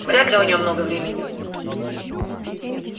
вряд ли у неё много времени